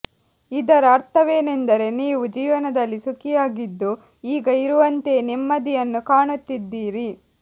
ಇದರ ಅರ್ಥವೇನೆಂದರೆ ನೀವು ಜೀವನದಲ್ಲಿ ಸುಖಿಯಾಗಿದ್ದು ಈಗ ಇರುವಂತೆಯೇ ನೆಮ್ಮದಿಯನ್ನು ಕಾಣುತ್ತಿದ್ದೀರಿ